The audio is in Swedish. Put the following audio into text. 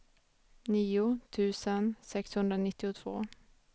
nio tusen sexhundranittiotvå